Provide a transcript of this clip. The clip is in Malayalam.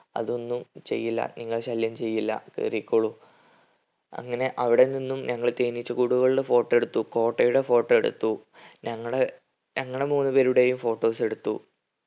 അതൊന്നും ചെയ്യില്ല നിങ്ങളെ ശല്യം ചെയ്യില്ല കേറിക്കോളു. അങ്ങനെ അവിടെ നിന്നും ഞങ്ങൾ തേനീച്ചക്കൂടുകളുടെ photo എടുത്തു. കോട്ടയുടെ photo എടുത്തു ഞങ്ങൾ ഞങ്ങൾ മൂന്ന് പേരുടെയും photos എടുത്തു.